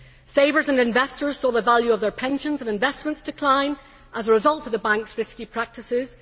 Savers and investors saw the value of their pensions and investments decline as a result of the banks' risky practices.